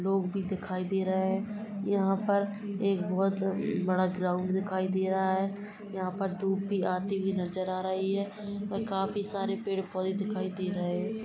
लोग भी दिखाय दे रहे है यहाँ पर एक बहुत बड़ा ग्राउंड दिखाय दे रहा है यहाँ पर धुप भी आती हुयी नजर आ रही है और खाफी सारे पेड़ पोधे दिखाय दे रहे है।